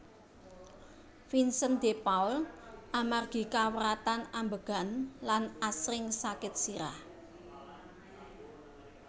Vincent de Paul amargi kawratan ambegan lan asring sakit sirah